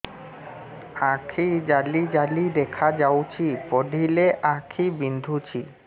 ଆଖି ଜାଲି ଜାଲି ଦେଖାଯାଉଛି ପଢିଲେ ଆଖି ବିନ୍ଧୁଛି